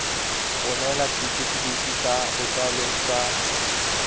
romela setefikeiti sa botsalo sa